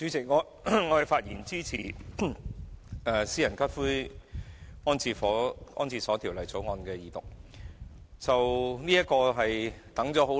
主席，我發言支持《私營骨灰安置所條例草案》的二讀。